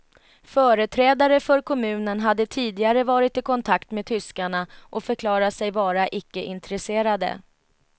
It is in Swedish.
Företrädare för kommunen hade tidigare varit i kontakt med tyskarna och förklarat sig vara icke intresserade.